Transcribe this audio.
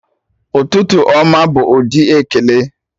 Ụtụtụ ọma' bụ ụdị ekele